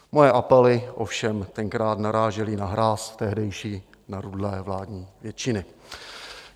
Moje apely ovšem tenkrát narážely na hráz tehdejší narudlé vládní většiny.